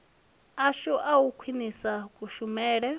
ashu a u khwinisa kushumele